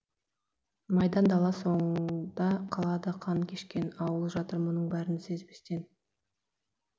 майдан дала соңда қалды қан кешкен ауыл жатыр мұның бірін сезбестен